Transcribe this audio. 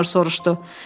Mayor soruşdu.